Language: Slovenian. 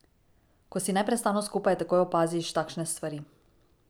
Ko si neprestano skupaj, takoj opaziš takšne stvari.